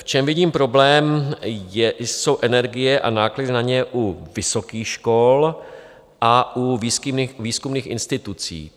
V čem vidím problém, jsou energie a náklady na ně u vysokých škol a u výzkumných institucí.